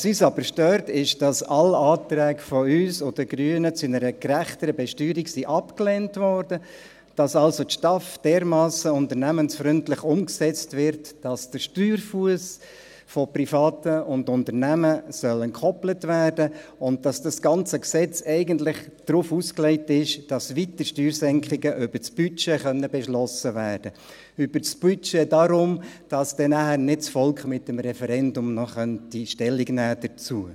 Was uns aber stört, ist, dass alle Anträge von uns und den Grünen zu einer gerechteren Besteuerung abgelehnt wurden, dass also die STAF dermassen unternehmensfreundlich umgesetzt wird, dass der Steuerfuss von Privaten und Unternehmen entkoppelt werden soll, und dass das ganze Gesetz eigentlich darauf ausgelegt ist, dass weitere Steuersenkungen über das Budget beschlossen werden können – deshalb über das Budget, damit das Volk dann nicht noch mit dem Referendum Stellung dazu nehmen könnte.